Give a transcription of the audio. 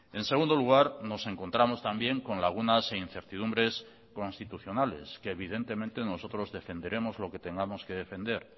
en segundo lugar nos encontramos también con lagunas e incertidumbres constitucionales que evidentemente nosotros defenderemos lo que tengamos que defender